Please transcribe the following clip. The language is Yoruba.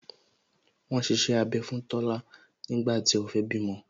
Wọn ṣiṣẹ́ abẹ fún Tola nígbà tí ó fẹ́ bímọ